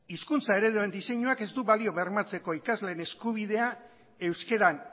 hizkuntza ereduen diseinuak ez du balio bermatzeko ikasleen eskubidea euskeran